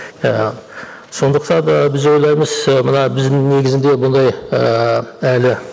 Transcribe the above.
ііі сондықтан да біз ойлаймыз ы мына біздің негізінде бұндай ііі әлі